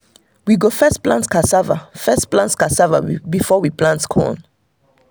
we go first plant casava first plant casava before we plant corn.